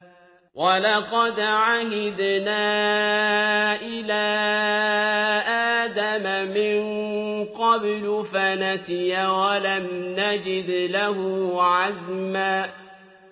وَلَقَدْ عَهِدْنَا إِلَىٰ آدَمَ مِن قَبْلُ فَنَسِيَ وَلَمْ نَجِدْ لَهُ عَزْمًا